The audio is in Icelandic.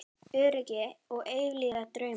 Öryggi og eilífir draumar